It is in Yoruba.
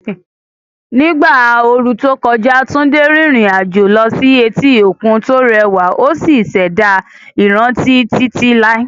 Ní ìgbà ooru tó kọjá, Tunde rìnrìn àjò lọ sí etí òkun tó rẹwà ó sì ṣẹ̀dá ìrántí títí láé.